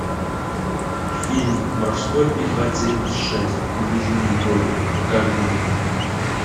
фильм морской пехотинец шесть ближний бой покажи мне